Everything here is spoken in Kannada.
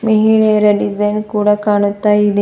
ಮಹಿಳೆಯರ ಡಿಸೈನ್ ಕೂಡ ಕಾಣುತ್ತ ಇದೆ.